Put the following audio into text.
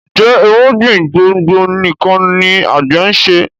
Njé irúgbìn gbòngbò nìkàn ní agbe nṣe?